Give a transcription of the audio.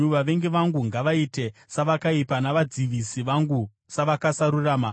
“Vavengi vangu ngavaite savakaipa, navadzivisi vangu savasakarurama!